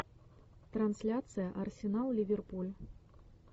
трансляция арсенал ливерпуль